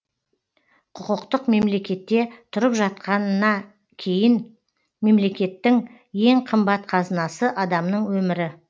құқықтық мемлекетте тұрып жатқанна кейін мемлекеттің ең қымбат қазынасы адамның өмірі